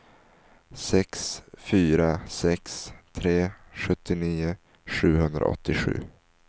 sex fyra sex tre sjuttionio sjuhundraåttiosju